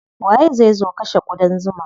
Waye zai zo kashe ƙudan zuman?